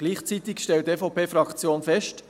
Gleichzeitig stellt die EVPFraktion fest: